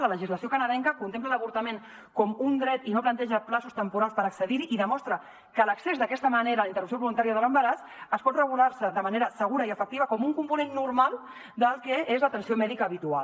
la legislació canadenca contempla l’avortament com un dret i no planteja terminis temporals per accedir hi i demostra que l’accés d’aquesta manera a la interrupció voluntària de l’embaràs es pot regular de manera segura i efectiva com un component normal del que és l’atenció mèdica habitual